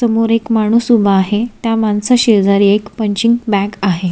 समोर एक माणूस उभा आहे त्या माणसा शेजारी एक पंचींग बॅग आहे.